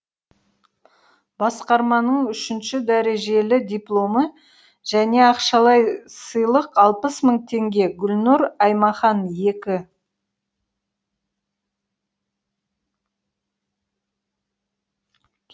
басқарманың үшінші дәрежелі дипломы және ақшалай сыйлық алпыс мың теңге гүлнұр аймахан екі